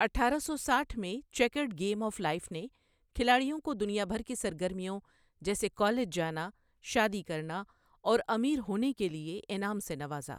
اٹھارہ سو ساٹھ میں چیکرڈ گیم آف لائف نے کھلاڑیوں کو دنیا بھر کی سرگرمیوں جیسے کالج جانا، شادی کرنا، اور امیر ہونے کےلئے انعام سے نوازا۔